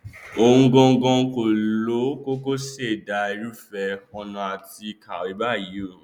òun gangan kọ ló kọkọ ṣẹdá irúfẹ ọnà àti kàwé báyìí o